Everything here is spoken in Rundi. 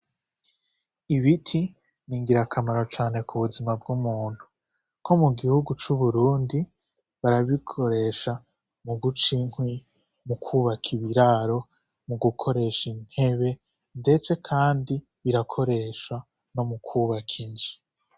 Ibiti ni ngira akamaro cane ku buzima bw'umuntu ko mu gihugu c'uburundi barabikoresha mu guca inkwi mu kwubaka ibiraro mu gukoresha intebe, ndetse, kandi birakoresha no mu kwubaka inji.